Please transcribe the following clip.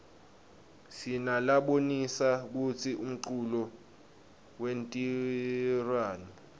sinalabonisa kutsi umculo wentiwaryani